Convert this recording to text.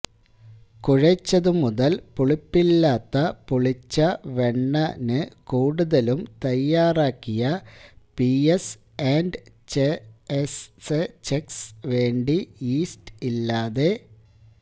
കുഴെച്ചതുമുതൽ പുളിപ്പില്ലാത്ത പുളിച്ച വെണ്ണ ന് കൂടുതലും തയ്യാറാക്കിയ പിഎസ് ആൻഡ് ഛെഎസെചകെസ് വേണ്ടി യീസ്റ്റ് ഇല്ലാതെ